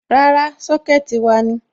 Rárá, Sọ́kẹ̀tì wa ni.